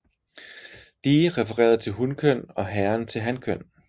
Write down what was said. Die refererede til hunkøn og Herren til hankøn